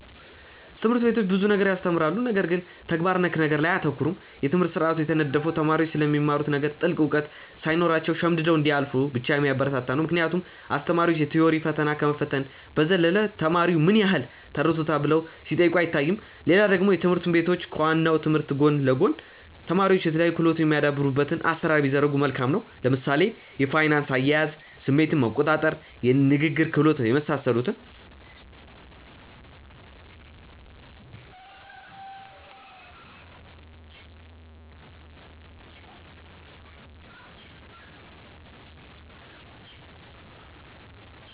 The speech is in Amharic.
ትምህርት ቤቶች ብዙ ነገር ያስተምራሉ ነገር ግን ተግባር ነክ ነገር ላይ አያተኩሩም። የትምህርት ስርአቱ የተነደፈው ተማሪዎች ስለሚማሩት ነገር ጥልቅ እውቀት ሳይኖራቸው ሸምድደው እንዲያልፉ ብቻ የሚያበረታታ ነው ምክንያቱም አስተማሪዎች የ ቲዎሪ ፈተና ከመፈተን በዘለለ ተማሪው ምን ያህል ተረድቶታል ብለው ሲጠይቁ አይታዩም። ሌላ ደግሞ ትምህርት ቤቶች ከ ዋናው ትምህርት ጎን ለ ጎን ተማሪዎች የተለያዩ ክህሎቶች የሚያዳብሩበትን አሰራር ቢዘረጉ መልካም ነው። ለምሳሌ የፋይናንስ አያያዝ፣ ስሜትን መቆጣር፣ የንግግር ክህሎት የመሳሰሉትን